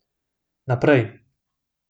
Naprej.